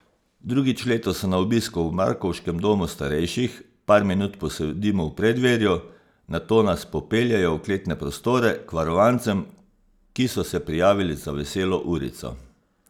Drugič letos so na obisku v markovškem domu starejših, par minut posedimo v preddverju, nato nas popeljejo v kletne prostore, k varovancem, ki so se prijavili za veselo urico.